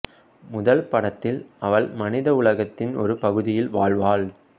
முதல் படத்தில் அவள் மனித உலகத்தின் ஒரு பகுதியில் வாழ்வாள்